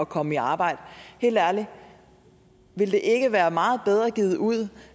komme i arbejde helt ærligt ville det ikke være meget bedre givet ud